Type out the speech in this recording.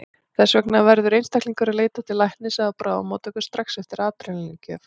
Þess vegna verður einstaklingur að leita til læknis eða á bráðamóttöku strax eftir adrenalín-gjöf.